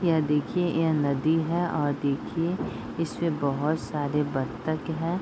यह देखिए यह नदी है और देखिए इसमें बहोत सारे बत्तख हैं।